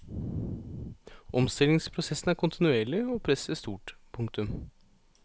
Omstillingsprosessen er kontinuerlig og presset stort. punktum